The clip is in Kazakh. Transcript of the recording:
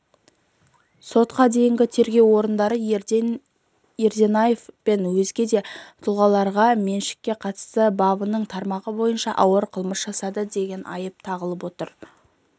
сотқа дейінгі тергеу орындары ерденаев пен өзге де тұлғаларға меншікке қатысты бабының тармағы бойынша ауыр қылмыс жасады деп айып тағып отыр